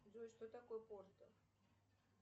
джой что такое порто